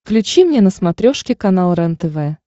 включи мне на смотрешке канал рентв